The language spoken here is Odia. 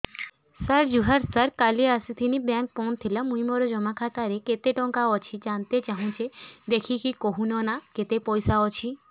ସାର ଜୁହାର ସାର କାଲ ଆସିଥିନି ବେଙ୍କ ବନ୍ଦ ଥିଲା ମୁଇଁ ମୋର ଜମା ଖାତାରେ କେତେ ଟଙ୍କା ଅଛି ଜାଣତେ ଚାହୁଁଛେ ଦେଖିକି କହୁନ ନା କେତ ପଇସା ଅଛି